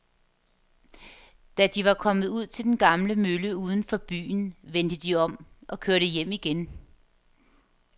Da de var kommet ud til den gamle mølle uden for byen, vendte de om og kørte hjem igen.